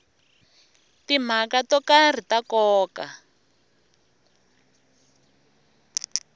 timhaka to karhi ta nkoka